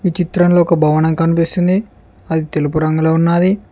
ఈ చిత్రంలో ఒక భవనం కనిపిస్తుంది అది తెలుపు రంగులో ఉన్నది.